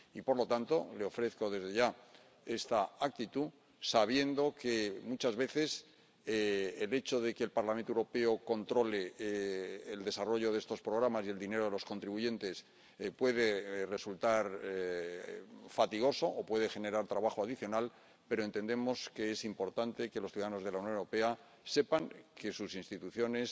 Y, por lo tanto, le ofrezco desde ya esta actitud, sabiendo que, muchas veces, el hecho de que el Parlamento Europeo controle el desarrollo de estos programas y el dinero de los contribuyentes puede resultar fatigoso o puede generar trabajo adicional, pero entendemos que es importante que los ciudadanos de la Unión Europea sepan que sus instituciones